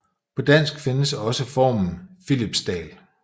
På dansk findes også formen Philipsdal